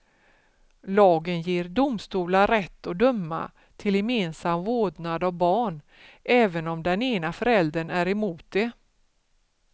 Lagen ger domstolar rätt att döma till gemensam vårdnad av barn, även om den ena föräldern är emot det.